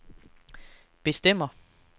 bestemmer